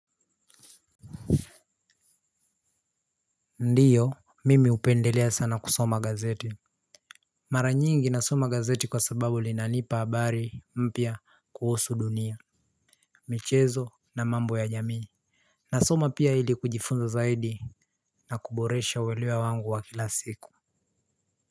Ndio mimi hupendelea sana kusoma gazeti. Mara nyingi nasoma gazeti kwa sababu linanipa habari mpya kuhusu dunia. Michezo na mambo ya jamii. Nasoma pia ili kujifunza zaidi na kuboresha uelewa wangu wa kila siku.